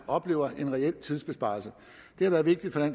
oplever en reel tidsbesparelse det har været vigtigt for